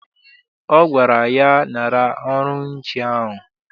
Ọ gwara ya, nara ọrụ nche ahụ!